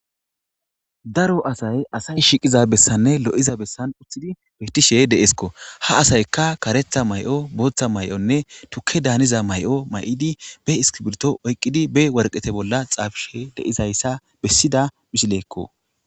Daro asay asay shiqiza bessanne lo'iza bessan uthidi betishe deeskko. Ha asayka karetha mayo booththa mayonne tukkedaan haniza mayo mayidi ba iskibirto oyqqidi ba woraqata bolla xaafishe de'iza issa bessida misileekko.